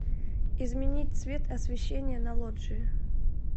изменить цвет освещение на лоджии